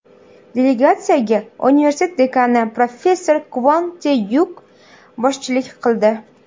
Delegatsiyaga universitet dekani professor Kvon Te-Vuk boshchilik qildi.